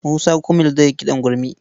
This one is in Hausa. Musa Gumel zai yi kiɗan gurmi.